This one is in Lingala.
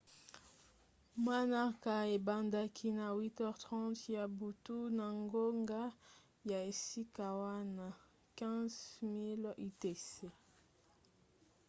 manaka ebandaki na 8h30 ya butu na ngonga ya esika wana 15.00 utc